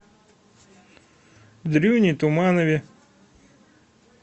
дрюне туманове